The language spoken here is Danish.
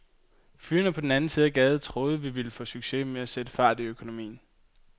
Fyrene på den anden side af gaden troede, vi ville få succes med at sætte fart i økonomien.